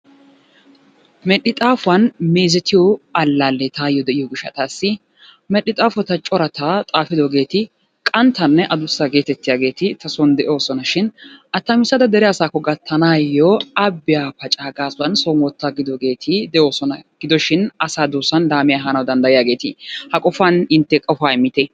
Medhdhi xaafuwan meezetiyo allaale taayyo de'iyo gishshaw, medhdhi xaafota corata xaafidoogeeti qanttanne addussa getettiyaageeti ta soon de'oosonashin attamissada dere asakko gattaanayyo abbiya pacaa gaasuwan soon wottaagidoogeeri de'oosona gidoshin asaa duussan laammiya ehanaw danddayiyaageeti. Ha qofan intte qofa immitte.